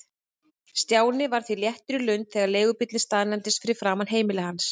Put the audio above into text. Stjáni var því léttur í lund þegar leigubíllinn staðnæmdist fyrir framan heimili hans.